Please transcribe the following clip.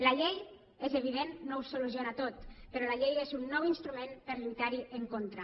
la llei és evident no ho soluciona tot però la llei és un nou instrument per lluitar hi en contra